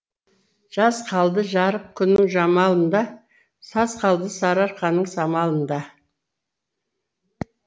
жаз қалды жарық күннің жамалында саз қалды сарыарқаның самалында